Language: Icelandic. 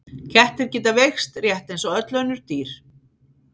Kettir geta veikst rétt eins og öll önnur dýr.